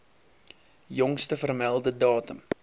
jongste vermelde datum